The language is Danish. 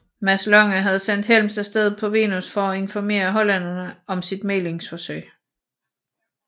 Mads Lange havde sendt Helms af sted på Venus for at informere hollænderne om sit mæglingsforsøg